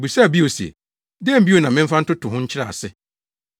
Obisaa bio se, “Dɛn bio na memfa ntoto ho nkyerɛ ase?